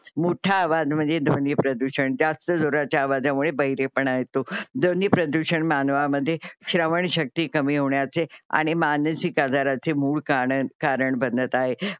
मोठा आवाज म्हणजे ध्वनी प्रदूषण. जास्त जोराच्या आवाजामुळे बहिरेपणा येतो. ध्वनी प्रदूषण मानवामध्ये श्रवण शक्ती कमी होण्याचे आणि मानसिक आजाराचे मूळ कांर कारण बनत आहे.